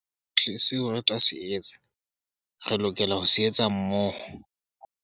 Sohle seo re tla se etsa, re lokela ho se etsa hammoho.